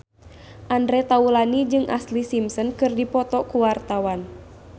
Andre Taulany jeung Ashlee Simpson keur dipoto ku wartawan